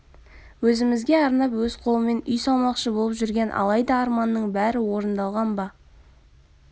өзімізге арнап өз қолымен үй салмақшы болып жүрген алайда арманның бәрі орындалған ба